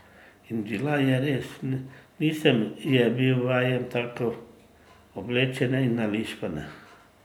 In bila je res, nisem je bil vajen tako oblečene in nališpane.